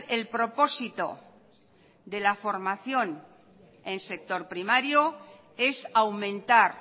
el propósito de la formación en sector primario es aumentar